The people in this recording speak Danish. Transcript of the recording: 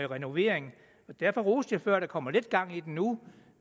renovering derfor roste jeg før at der kommer lidt gang i den nu